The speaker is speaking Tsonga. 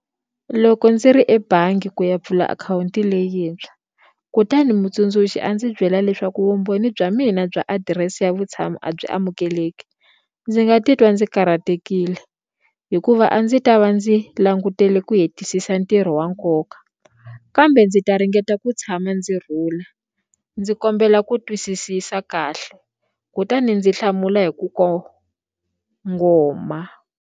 Loko ndzi ri ebangi ku ya pfula akhawunti leyintshwa kutani mutsundzuxi a ndzi byela leswaku vumbhoni bya mina bya adirese ya vutshamo a byi amukeleki ndzi nga titwa ndzi karhatekile hikuva a ndzi ta va ndzi langutele ku hetisisa ntirho wa nkoka kambe ndzi ta ringeta ku tshama ndzi rhula ndzi kombela ku twisisisa kahle kutani ndzi hlamula hi ku kongoma.